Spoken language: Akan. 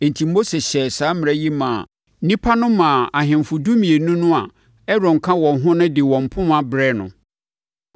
Enti, Mose hyɛɛ saa mmara yi maa nnipa no maa ahemfo dumienu no a Aaron ka wɔn ho de wɔn mpoma brɛɛ no.